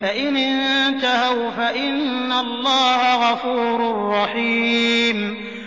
فَإِنِ انتَهَوْا فَإِنَّ اللَّهَ غَفُورٌ رَّحِيمٌ